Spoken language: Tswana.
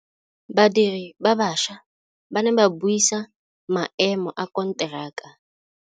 Badiri ba baša ba ne ba buisa maêmô a konteraka.